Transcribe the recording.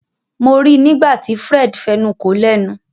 Mo rí nígbàtí Fred fẹnuko lénu.